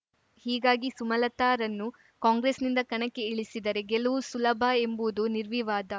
ಹೀಗಾಗಿ ಸುಮಲತಾರನ್ನು ಕಾಂಗ್ರೆಸ್‌ನಿಂದ ಕಣಕ್ಕೆ ಇಳಿಸಿದರೆ ಗೆಲುವು ಸುಲಭ ಎಂಬುದು ನಿರ್ವಿವಾದ